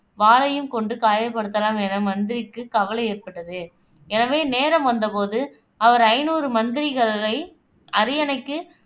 வாளையும் கொண்டு காயப்படுத்தலாம் என மந்திரிக்கு கவலை ஏற்பட்டது எனவே, நேரம் வந்த போது அவர் ஐந்நூறு மந்திரிகளை அரியணைக்கு